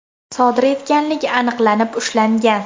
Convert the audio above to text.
sodir etganligi aniqlanib ushlangan.